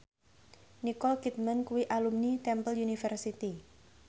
Nicole Kidman kuwi alumni Temple University